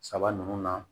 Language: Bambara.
Saba nunnu na